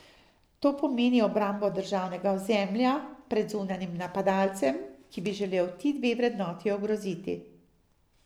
To pomeni obrambo državnega ozemlja pred zunanjim napadalcem, ki bi želel ti dve vrednoti ogroziti.